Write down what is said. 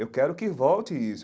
Eu quero que volte isso.